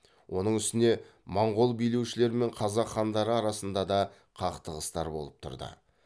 оның үстіне моңғол билеушілері мен қазақ хандары арасында да қақтығыстар болып тұрды